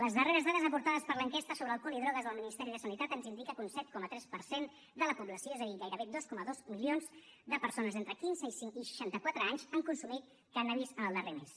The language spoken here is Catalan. les darreres dades aportades per l’enquesta sobre alcohol i drogues del ministeri de sanitat ens indiquen que un set coma tres per cent de la població és a dir gairebé dos coma dos milions de persones entre quinze i seixanta quatre anys han consumit cànnabis en el darrer mes